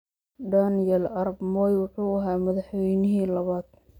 Daniel arap Moi wuxuu ahaa madaxweynihii labaad.